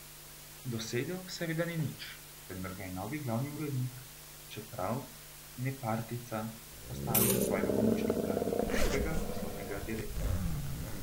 Dosegel seveda ni nič, vendar ga je novi glavni urednik, čeprav nepartijca, postavil za svojega pomočnika in prvega poslovnega direktorja.